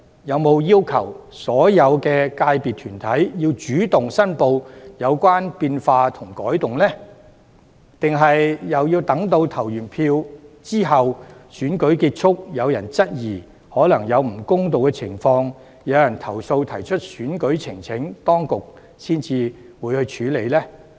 有否要求所有界別團體主動申報有關變化和改動，抑或要待選舉結束後，有人質疑可能有不公道的情況，提出投訴及選舉呈請時，當局才會處理呢？